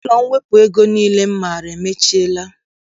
Ụlọ mwepụ ego niile m maara emechiela